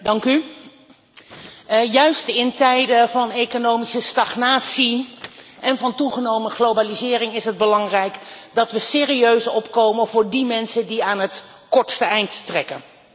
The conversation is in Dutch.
Net in tijden van economische stagnatie en toegenomen globalisering is het belangrijk dat we serieus opkomen voor mensen die aan het kortste eind trekken.